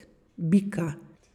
Bika!